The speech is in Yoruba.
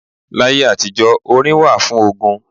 Láyé àtijó, orin wà fún ogun.